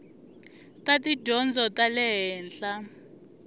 ta tidyondzo ta le henhla